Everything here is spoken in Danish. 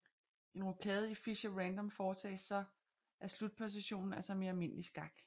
En rokade i Fischer Random foretages så at slutpositionen er som i almindelig skak